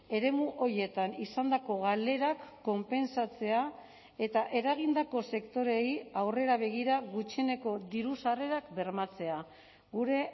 eremu horietan izandako galerak konpentsatzea eta eragindako sektoreei aurrera begira gutxieneko diru sarrerak bermatzea gure